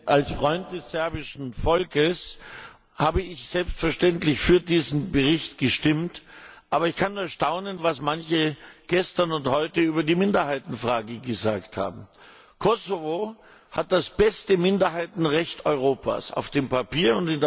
Herr Präsident! Als Freund des serbischen Volkes habe ich selbstverständlich für diesen Bericht gestimmt. Aber ich kann nur staunen, was manche gestern und heute über die Minderheitenfrage gesagt haben. Kosovo hat das beste Minderheitenrecht Europas auf dem Papier.